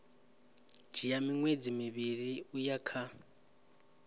dzhia miṅwedzi mivhili uya kha